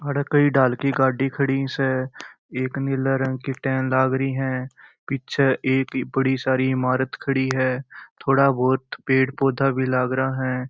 यहाँ कई गाडी खड़ी स एक नीले रंग की टेन लागरी है पीछे एक बड़ी सारी ईमारत खड़ी है थोड़ा बहुत पेड़ भी लागरा है।